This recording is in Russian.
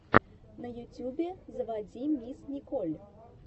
на ютубе заводи мисс николь